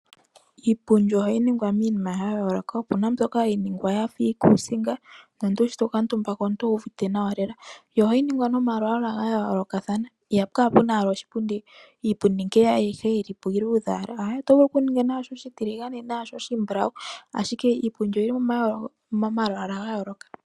Iipundi ohayi ningwa miinima yayooloka opena yimwe mbyoka hayi ningwa yafa iikusinga nomuntu shito kuutumba owuvite nawa lela. Yo ohayi ningwa momalwaala gayoolokathana ihapu kala owala pena iipundi ayishe ngee yilipo iiludhe owala otovulu okuninga nashi oshitiligane nenge oshimbulawu ashike iipundi oyili momalwaala gayooloka.